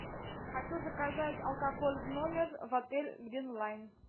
хочу заказать алкоголь в номер в отель грин лайн